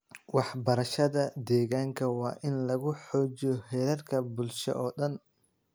Waxbarashada deegaanka waa in lagu xoojiyo heerarka bulsho oo dhan.